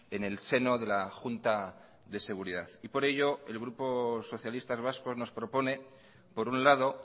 en el seno de la junta de seguridad y por ello el grupo socialistas vascos nos propone por un lado